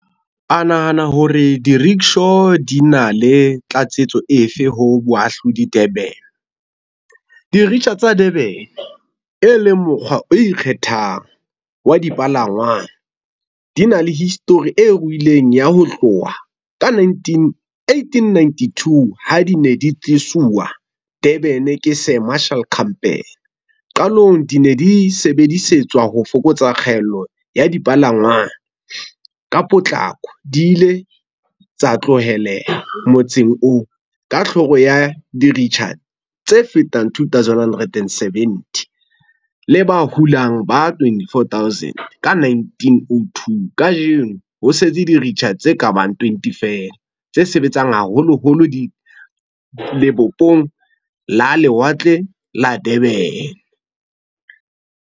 A nahana hore di-rickshaw di na le tlatsetso efe ho boahludi Durban. tsa Durban, e leng mokgwa o ikgethang, wa di palangwang di na le history e ruileng ya ho tloha ka 1892 ha di ne di tlisuwa Durban ke Sir Marshal Campbell. Qalong di ne di sebedisetswa ho fokotsa kgaello ya dipalangwang. Ka potlako di ile tsa tloheleha motseng oo ka ya diritjha tse fetang two thousand hundred and seventy le ba hulang ba twenty four thousand ka 1902. Kajeno ho setse diritjha tse ka bang twenty feela tse sebetsang haholoholo lebopong la lewatle la Durban.